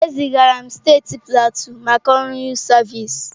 E zigara m steeti Pleateu maka ọrụ yụtụ sịvịsi.